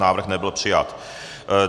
Návrh nebyl přijat.